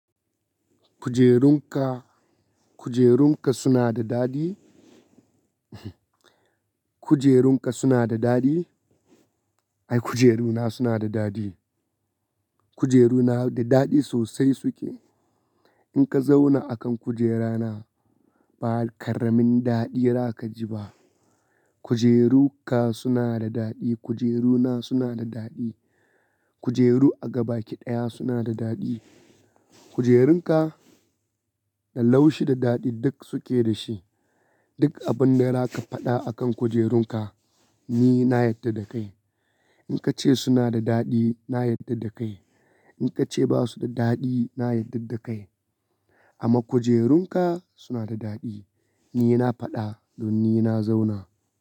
Kujerunka, kujerunka suna da daɗi. Kujerunka suna da daɗi. Ai kujeruna suna da daɗi. Kujeruna da daɗi sosai suke. In ka zauna akan kujerana ba ƙaramin daɗi za ka ji ba. Kujerunka suna da daɗi, kujeruna suna da daɗi. Kujeru a gaba ki ɗaya suna da daɗi. Kujerunka da laushi da daɗi duk suke da shi. Duk abun da raka faɗa akan kujerunka ni na yarda da kai. In ka ce suna da daɗi na yarda da kai, in ka ce basu da daɗi na yarda da kai. Amma kujerunka suna da daɗi ni na faɗa don ni na zauna.